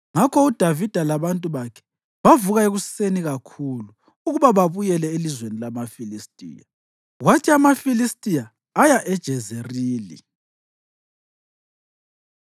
Ngakho uDavida labantu bakhe bavuka ekuseni kakhulu ukuba babuyele elizweni lamaFilistiya, kwathi amaFilistiya aya eJezerili.